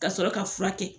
Ka sɔrɔ ka furakɛ